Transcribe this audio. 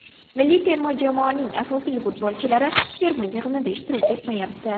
Milliy terma jamoaning asosiy futbolchilari terma yig‘inida ishtirok etmayapti.